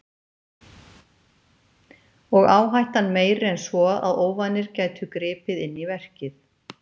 Og áhættan meiri en svo að óvanir gætu gripið inn í verkið.